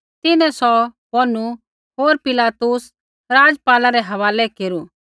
तिन्हैं सौ बोनू होर पिलातुस राज़पाला रै हवालै केरू